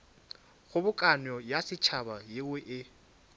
kgobokano ya setšhaba yeo e